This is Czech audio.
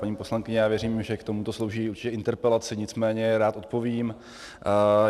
Paní poslankyně, já věřím, že k tomuto slouží určitě interpelace, nicméně rád odpovím.